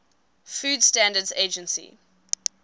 food standards agency